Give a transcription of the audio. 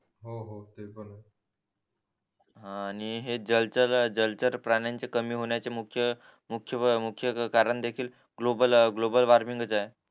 आणि हे जलचर जलचर प्राण्याचे कमी होण्याचे मुख्य मुख्य कारण देखील ग्लोबल ग्लोबल वॉर्मिंग ग च आहे